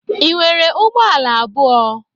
Ị nwere ụgbọ ala abụọ?